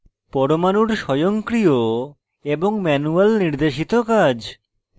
পরমাণুর স্বয়ংক্রিয় এবং manual নির্দেশিত কাজ